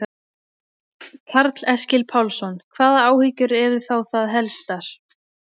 Karl Eskil Pálsson: Hvaða áhyggjur eru þá það helstar?